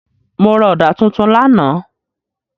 Mo ra ọ̀dà tuntun lánàá.